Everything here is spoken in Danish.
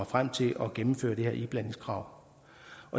frem til at gennemføre det her iblandingskrav